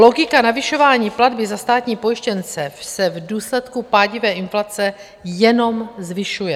Logika navyšování platby za státní pojištěnce se v důsledku pádivé inflace jenom zvyšuje.